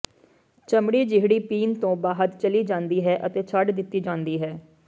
ਚਮੜੀ ਜਿਹੜੀ ਪੀਣ ਤੋਂ ਬਾਅਦ ਚਲੀ ਜਾਂਦੀ ਹੈ ਅਤੇ ਛੱਡ ਦਿੱਤੀ ਜਾਂਦੀ ਹੈ